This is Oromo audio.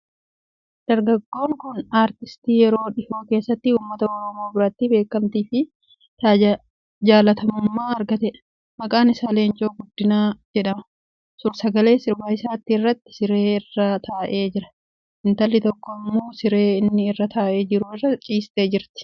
Dargaggoon kun aartistii yeroo dhihoo keessatti uummata Oromoo biratti beekamtii fi jaallatamummaa argateedha. Maqaan isaa Leencoo Guddinaa jedhama. Suur-sagalee sirba isaatii irratti siree irra taa'ee jira. Intalli tokko immoo siree inni irra taa'ee jiru irra ciistee jirti.